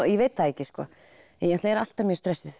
ég veit það ekki ég er alltaf stressuð